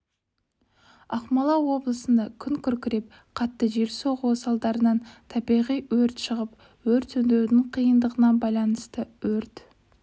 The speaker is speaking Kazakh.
ақмола облысында күн күркіреп қатты жел соғуы салдарынан табиғи өрт шығып өрт сөндірудің қиындығына байланысты өрт